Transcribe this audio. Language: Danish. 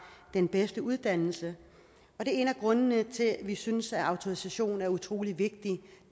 den bedste uddannelse det er en af grundene til at vi synes at autorisation er utrolig vigtig